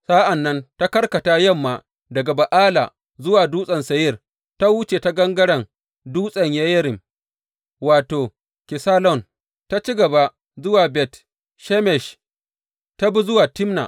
Sa’an nan ta karkata yamma daga Ba’ala zuwa Dutsen Seyir, ta wuce ta gangaren Dutsen Yeyarim wato, Kesalon, ta ci gaba zuwa Bet Shemesh, ta bi zuwa Timna.